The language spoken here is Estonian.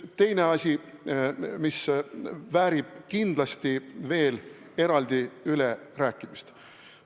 Teine asi, mis väärib kindlasti veel eraldi ülerääkimist.